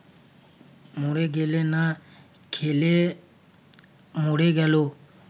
মরে গেলে না খেলে মরে গেল